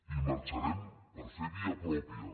i marxarem per fer via pròpia